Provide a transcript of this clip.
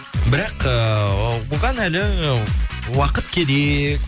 бірақ ыыы оған әлі уақыт